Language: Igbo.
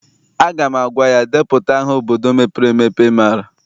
Aga m agwa ya, depụta aha obodo mepere emepe ị maara!